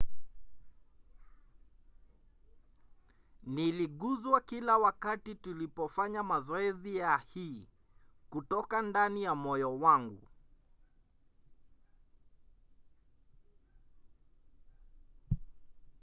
"niliguzwa kila wakati tulipofanya mazoezi ya hii kutoka ndani ya moyo wangu.